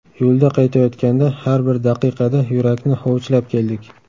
Yo‘lda qaytayotganda har bir daqiqada yurakni hovuchlab keldik.